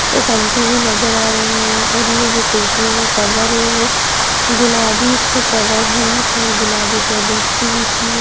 एक आंटी भी नजर आ रही हैऔर ये जो कुर्सियों का कवर है. वो गुलाबी से कवर है गुलाबी टेबल्स भी बिछी हैं।